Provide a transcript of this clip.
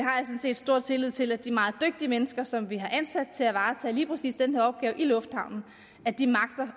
set stor tillid til at de meget dygtige mennesker som vi har ansat til at varetage lige præcis den her opgave i lufthavnen